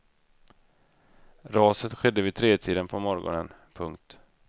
Raset skedde vid tretiden på morgonen. punkt